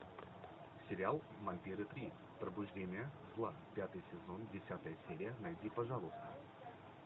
сериал вампиры три пробуждение зла пятый сезон десятая серия найди пожалуйста